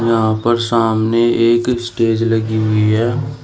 यहां पर सामने एक स्टेज लगी हुई है।